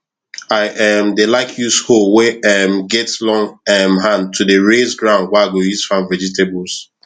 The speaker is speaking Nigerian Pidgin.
i um dey like use hoe wey um get long um hand to dey raise ground wey i go use farm vegetables